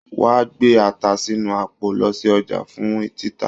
Wà á gbé ata sínú àpò lọ sí ọjà fún títà.